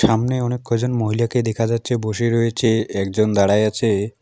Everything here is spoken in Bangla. সামনে অনেক কয়জন মহিলাকে দেখা যাচ্ছে বসে রয়েছে একজন দাঁড়ায় আছে।